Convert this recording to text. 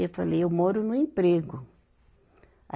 Eu falei, eu moro no emprego.